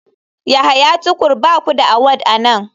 Yahya tukur ba ku da award a nan.